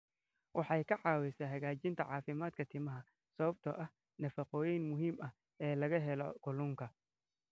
Waxay ka caawisaa hagaajinta caafimaadka timaha sababtoo ah nafaqooyinka muhiimka ah ee laga helo kalluunka.